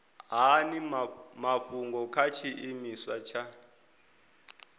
hani mafhungo kha tshiimiswa tsha